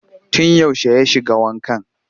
Tun yaushe ya shiga wankan?